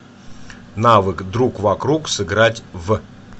навык другвокруг сыграть в